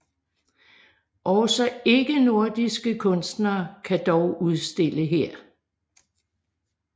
Også ikke nordiske kunstnere kan dog udstille her